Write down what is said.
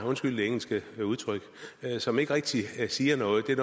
undskyld det engelske udtryk som ikke rigtig siger noget det er